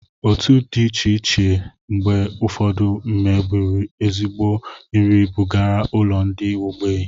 Otu di iche iche mgbe ufodu n'eburu ezigbo nri bugara ulo ndi ogbei